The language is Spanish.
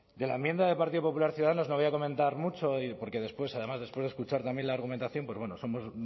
de la enmienda del partido popular ciudadanos no voy a comentar mucho porque después además después de escuchar también la argumentación pues bueno somos